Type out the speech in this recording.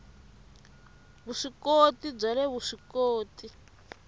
vusw ikoti bya le vuswikoti